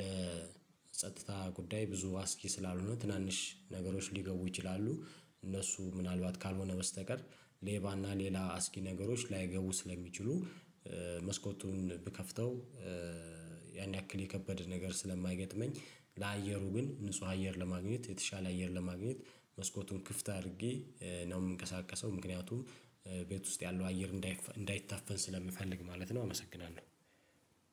ለጸጥታ ጉዳይ ብዙ አስጊ ስላልሆነ ትናንሽ ነገሮች ሊገቡ ይችላሉ እነሱ ምናልባት ካልሆነ በስተቀር ሌባና ሌላ አስጊ ነገሮች ላይገቡ ስለሚችሉ። መስኮቱን ብከፍተው ያን ያክል የከበደ ነገር ስለማይገጥመኝ ለአየሩ ግን ንጹህ አየር ለማግኘት የተሻለ አየር ለማግኘት መስኮቱን ክፍት አድርጌ ነው የምንቀሳቀሰው ምክንያቱም ቤት ውስጥ ያለው አየር እንዳይታፈን ስለምፈልግ ማለት ነው። አመሰግናለሁ